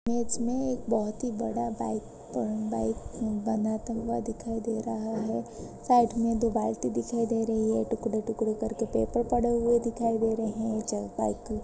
मेज में एक बहुत ही बड़ा बाइक अ बाइक बनाता हुआ दिखाई दे रहा है। साइड में दो बाल्टी दिखाई दे रही है टुकड़े-टुकड़े करके पेपर पड़े हुए दिखाई दे रहे हैं चल बाइक --